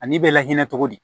Ani bɛ la hinɛ cogo di